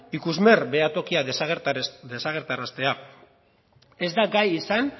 ikusmer behatokia desagertaraztea ez da gai izan